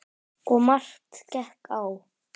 Og margt gekk á.